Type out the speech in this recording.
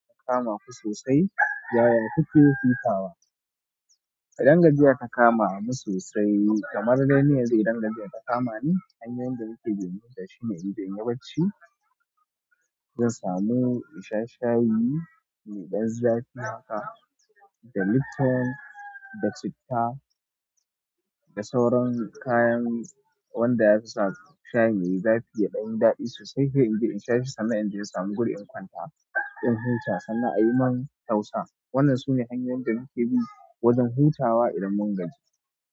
Ta kama ku sosai, yaya kuke hutawa? Idan gajiya ta kama mu sosai kamar dai ni yanzu, idan gajiya ta kama ni hanyoyin da nike bi in huta shi ne inje inyi bacci, zan samu in sha shayi mai ɗan zafi haka, da lipton, da citta, da sauran kayan wanda yafi sa shayi yayi zafi ya ɗanyi zafi sosai. Sai in inje in sha shi sannan, in inje in samu guri in kwanta in huta sannan a yi min tausa. Wannan sune hanyoyin da muke bi wajen hutawa idan mun gaji.